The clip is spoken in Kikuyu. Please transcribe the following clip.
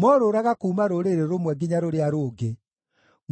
morũũraga kuuma rũrĩrĩ rũmwe nginya rũrĩa rũngĩ,